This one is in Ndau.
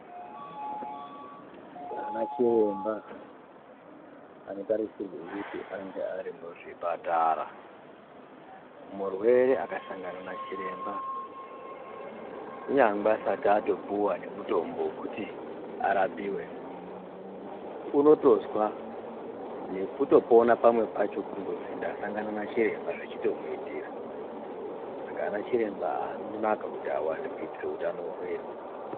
Anachiremba anotarisirwe kuti anenge arimuzvipatara murwere akasangana nachiremba kunyangwe asati atopuwa nemutombo wekuti arapiwe unotozwa nekutoponawo pamwe pacho kundozi ndasangana nechiremba zvechitomiitira saka anachiremba anonaka kuti awande kuitira utano hwedu.